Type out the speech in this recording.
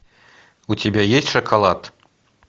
у тебя есть шоколад